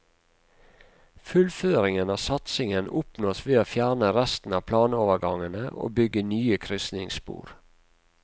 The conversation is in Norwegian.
Fullføringen av satsingen oppnås ved å fjerne resten av planovergangene og bygge nye krysningsspor.